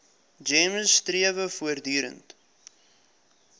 gems strewe voortdurend